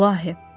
İlahi.